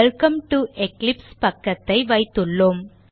welcome to Eclipse பக்கத்தை வைத்துள்ளோம்